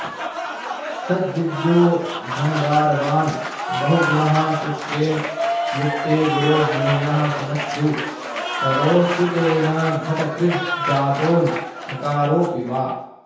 सद् विद्यो धनदारवान् बहु गुणः शुक्रेणयुक्ते गुरौ ज्ञेयः श्मश्रु करोऽसितेन घटकृज् जातोऽन्नकारोऽपि वा